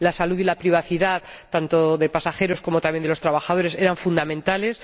La salud y la privacidad, tanto de pasajeros como de trabajadores, eran fundamentales.